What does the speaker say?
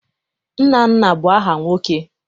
Nnanna bụ aha nwoke.